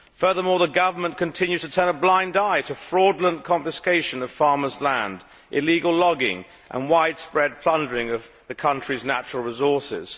Furthermore the government continues to turn a blind eye to fraudulent confiscation of farmers' land, illegal logging and widespread plundering of the country's natural resources.